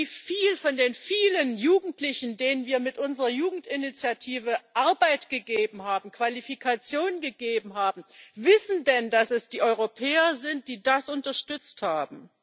Wie viele von den vielen Jugendlichen, denen wir mit unserer Jugendinitiative Arbeit gegeben haben, Qualifikationen gegeben haben, wissen denn, dass es die Europäer sind, die das unterstützt haben?